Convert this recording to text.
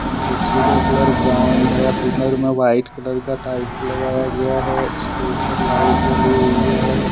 कुर्सी का colour brown है पीलर में वाइट कलर का टाइल्स लगाया गया हैइसके ऊपर लाइट जली हुई है।